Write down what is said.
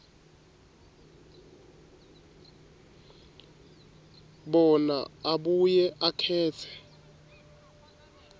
bona abuye akhetse